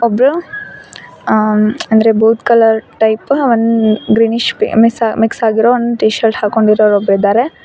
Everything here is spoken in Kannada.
ಬ್ಲೂ ಆ ಅಂದ್ರೆ ಬೋತ್ ಕಲರ್ ಟೈಪ್ ಒಂದ್ ಗ್ರೀನಿಶ್ ಮಿಕ್ಸ್ ಮಿಕ್ಸ್ ಆಗಿರೋ ಒಂದ್ ಟಿ ಶರ್ಟ್ ಹಾಕೊಂಡಿರೋರ್ ಒಬ್ಬರಿದ್ದಾರೆ.